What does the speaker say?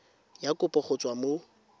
ya kopo go tswa mo